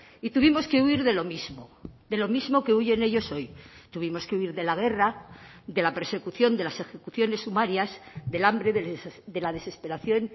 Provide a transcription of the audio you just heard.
y tuvimos que huir de lo mismo de lo mismo que huyen ellos hoy tuvimos que huir de la guerra de la persecución de las ejecuciones sumarias del hambre de la desesperación